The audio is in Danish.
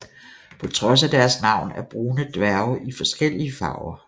På trods af deres navn er brune dværge i forskellige farver